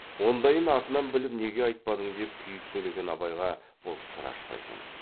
ондайын артынан біліп неге айтпадың деп күйіп сөйлеген абайға бұл сыр ашпайтын